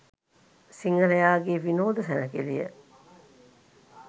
සිංහලයාගේ විනෝද සැණකෙළිය